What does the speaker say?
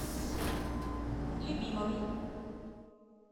любимовой